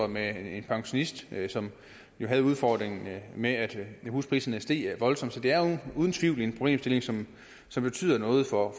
med en pensionist som jo havde udfordringen med at huspriserne steg voldsomt det er uden tvivl en problemstilling som som betyder noget for